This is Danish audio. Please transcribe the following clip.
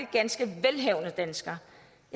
ganske velhavende danskere